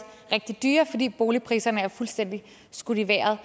rigtig dyre fordi boligpriserne er fuldstændig skudt i vejret